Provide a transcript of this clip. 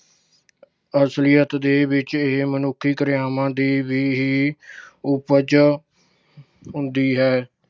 ਪਰ ਅਸਲੀਅਤ ਦੇ ਵਿੱਚ ਇਹ ਮਨੁੱਖੀ ਕਿਰਿਆਵਾਂ ਦੀ ਵੀ ਹੀ ਉਪਜ ਹੁੰਦੀ ਹੈ